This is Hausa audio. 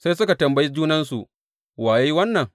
Sai suka tambayi junansu, Wa ya yi wannan?